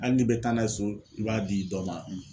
Hali n'i bɛ taa n'a ye so i b'a di dɔ ma